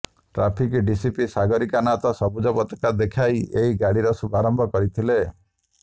traffic DCP Sagarika Nath ସବୁଜ ପତାକା ଦେଖାଇ ଏହି ଗାଡ଼ିର ଶୁଭାରମ୍ଭ କରିଥିଲେ